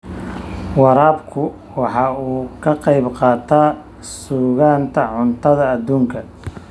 Waraabku waxa uu ka qayb qaataa sugnaanta cuntada aduunka.